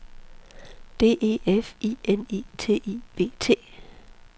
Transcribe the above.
D E F I N I T I V T